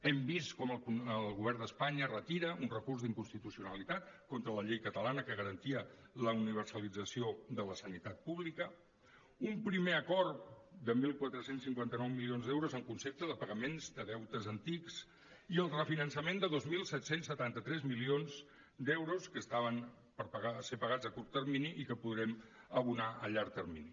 hem vist com el govern d’espanya retira un recurs d’inconstitucionalitat contra la llei catalana que garantia la universalització de la sanitat pública un primer acord de catorze cinquanta nou milions d’euros en concepte de pagaments de deutes antics i el refinançament de dos mil set cents i setanta tres milions d’euros que estaven per pagar ser pagats a curt termini i que podrem abonar a llarg termini